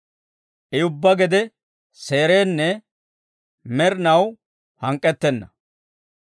I ubbaa gede seerenna; med'inaw hank'k'ettenna.